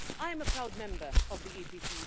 I am a proud member of the EPP.